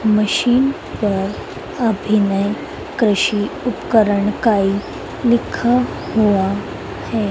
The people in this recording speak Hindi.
मशीन पर अभिनय कृषि उपकरण इकाई लिखा हुआ है।